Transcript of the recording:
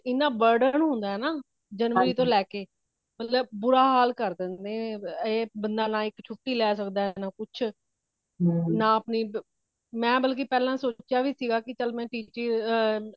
ਏਨਾ burden ਹੋਂਦ ਹੈ ਨਾ january ਤੋਂ ਲੈਕੇ ਮਤਲੱਬ ਬੁਰਾ ਹਾਲ ਕਰ ਦੇਂਦੇ ਨੇ ਬੰਦਾ ਨਾ ਹੀ ਛੁਟੀ ਲੈ ਸੱਕਦਾ ਹੈ ਨਾ ਕੁਛ ਨਾ ਮੈਂ ਬਾਲਕਿ ਪਹਿਲੇ ਸੋਚਿਆ ਵਿਗਾ ਚਾਲ ਮੈ ਕਿ ਆ